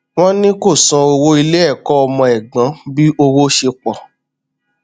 wọn ní kó san owó ilé ẹkọ ọmọ ẹgbọn bí owó ṣe pọ